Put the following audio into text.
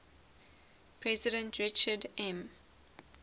president richard m